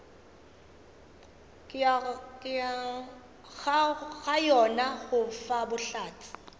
ga yona go fa bohlatse